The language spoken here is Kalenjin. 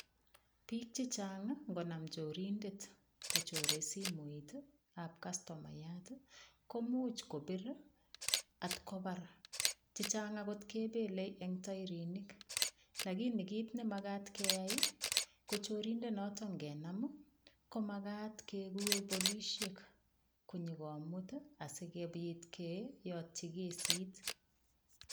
Bik chichang' ngonam chorindet kochorei simoitab kastomayat ko muuch kopir atkobar chichang' akot kepelei eng' toirinik lakini kit nemakat keyai ko chirindonoto ngenam komat kekur polishek konyikomut asikobit keyotyi kesit